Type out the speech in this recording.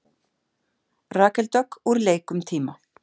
Rakel Dögg úr leik um tíma